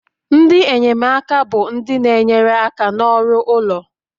Ndị enyemaka bụ ndị na-enyere aka n'ọrụ ụlọ